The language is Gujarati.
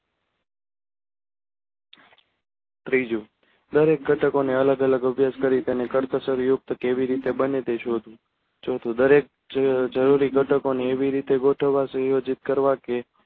ત્રીજું દરેક ઘટકો ને અલગ અલગ અભાસ કરી તેને કરકસર યુક્ત કેવી રીતે બને તે શોધવું ચોથું દરેક જરૂરી ઘટકો ને એવી રીતે ગોઠવવા સંયોજિત કરવા કે